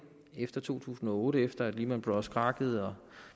efter to tusind og otte efter at lehman brothers krakkede og